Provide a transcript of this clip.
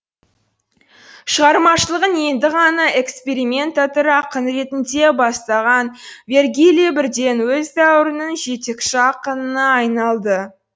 шығармашылығын енді ғана экспериментатор ақын ретінде бастаған вергилий бірден өз дәуірінің жетекші ақынына айналды